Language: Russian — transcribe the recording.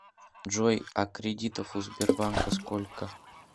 джой а кредитов у сбербанка сколько